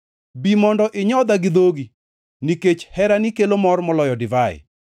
Bi mondo inyodha gi dhogi, nikech herani kelo mor moloyo divai.